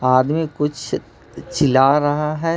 आदमी कुछ चिल्ला रहा है।